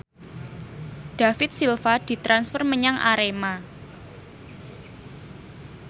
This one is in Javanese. David Silva ditransfer menyang Arema